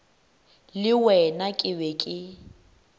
le wena ke be ke